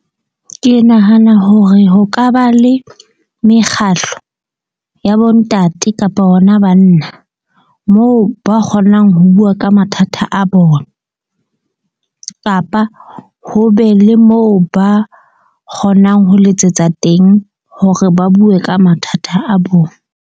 Ke nahana hore ho ka ba le mekgahlo ya bo ntate kapa hona banna. Moo ba kgonang ho bua ka mathata a bona, kapa ho be le moo ba kgonang ho letsetsa teng hore ba bue ka mathata a bona.